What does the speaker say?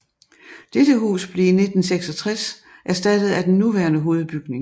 Dette hus blev i 1966 erstattet af den nuværende hovedbygning